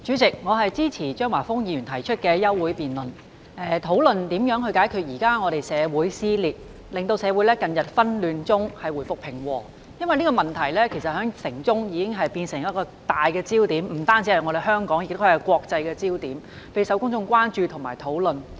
代理主席，我支持張華峰議員提出的休會待續議案，以討論如何解決目前的社會撕裂，令社會從近日的紛亂中回復平和，因為這個問題已不單是香港的焦點，亦是國際的焦點，備受公眾關注和討論。